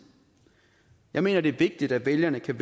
jeg mener det er vigtigt at vælgerne kan